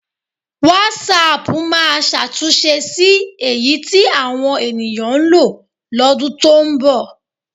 Wásáaàpù máa ṣàtúnṣe sí eyi tí àwọn ènìyàn ń lo lọ́dún tó ń bọ̀.